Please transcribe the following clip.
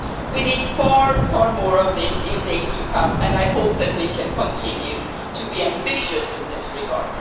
We need far more of this in the days to come and I hope that we can continue to be ambitious in this regard.